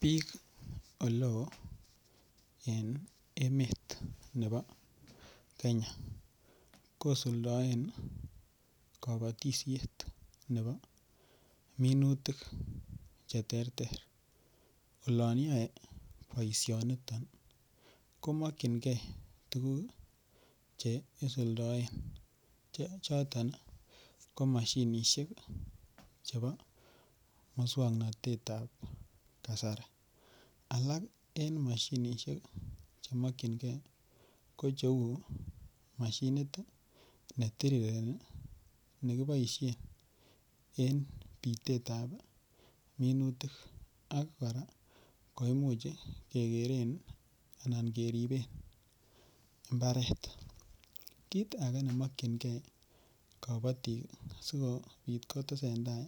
Bik oleo en emet nebo Kenya kosuldaen kabatisiet nebo minutik Che terter olon yoe boisionoto ko mokyingei tuguk Che isuldaen choton ko mashinisiek chebo moswoknatet ab kasari alak alak en mashinisiek Che ki mokyingei ko mashinit ne kiboisien en bitet ab minutik ak kora Imuch keboisien keriben mbaret kit age ne mokyingei kabatik asikobit kotesentai